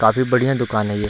काफी बढ़िया दुकान है ये।